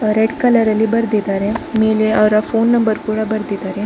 Red colour ಲಿ ಬರೆದಿದ್ದಾರೆ ಮೇಲೆ ಅವರ ಫೋನ್ ನಂಬರ್ ಕೂಡ ಬರೆದಿದ್ದಾರೆ.